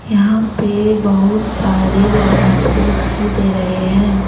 यहां पे बहुत सारे विद्यार्थी दिखाई दे रहे हैं ।